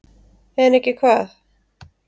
En ekki hvað?